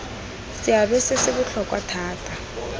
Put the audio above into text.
seabe se se botlhokwa thata